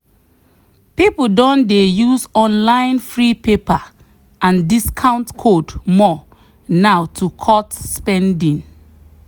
people don dey use online free paper and discount code more now to cut spending.